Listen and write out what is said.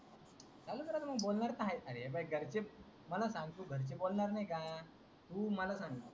बोलणार तर आहेच न रे घरचे. मला सांग तू घरचे बोलणार नाही का? तू मला सांग.